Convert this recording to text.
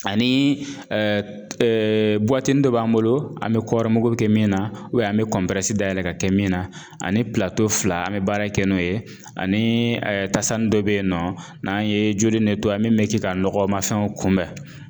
Ani dɔ b'an bolo an bɛ kɔɔri mugu kɛ min na an bɛ dayɛlɛ ka kɛ min na ani fila an bɛ baara kɛ n'o ye ani tasani dɔ bɛ yen nɔ n'an ye joli min bɛ kɛ ka nɔgɔmanfɛnw kunbɛn